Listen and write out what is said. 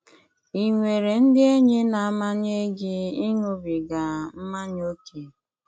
Ị nwere ndị enyi na-amanye gị ịṅụbiga mmanya ókè?